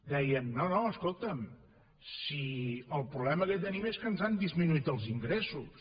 deien no no escolta’m si el problema que tenim és que ens han disminuït els ingressos